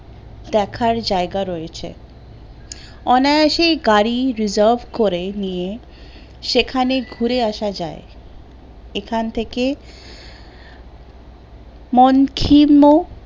দেখার জায়গা রয়েছে অনায়াসে গাড়ী reserve করে নিয়ে সেখানে ঘুড়ে আসা যায় এখান থেকে মন কীর্ণ